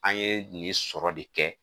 An ye nin sɔrɔ de kɛ